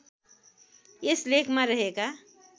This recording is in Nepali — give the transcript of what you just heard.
यस लेखमा रहेका